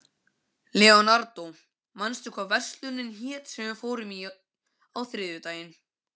Leonardó, manstu hvað verslunin hét sem við fórum í á þriðjudaginn?